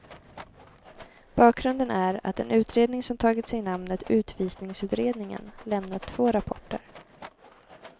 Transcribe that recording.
Bakgrunden är att en utredning som tagit sig namnet utvisningsutredningen lämnat två rapporter.